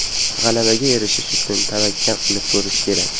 G‘alabaga erishish uchun tavakkal qilib ko‘rish kerak.